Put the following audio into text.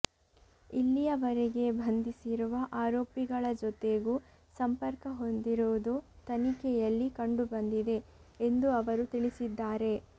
ಇಲ್ಲಿಯವರೆಗೆ ಬಂಧಿಸಿರುವ ಆರೋಪಿಗಳ ಜೊತೆಗೂ ಸಂಪರ್ಕ ಹೊಂದಿರುವುದು ತನಿಖೆಯಲ್ಲಿ ಕಂಡುಬಂದಿದೆ ಎಂದು ಅವರು ತಿಳಿಸಿದ್ದಾರೆ